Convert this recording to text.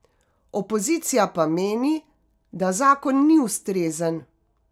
Opozicija pa meni, da zakon ni ustrezen.